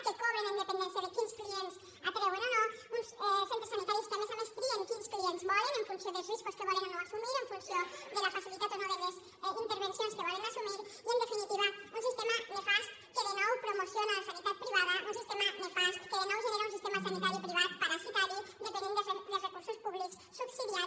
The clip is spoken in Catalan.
que cobren amb dependència de quins clients atrauen o no uns centres sanitaris que a més a més trien quins clients volen en funció dels riscos que volen o no assumir en funció de la facilitat o no de les intervencions que volen assumir i en definitiva un sistema nefast que de nou promociona la sanitat privada un sistema nefast que de nou genera un sistema sanitari privat parasitari dependent dels recursos públics subsidiat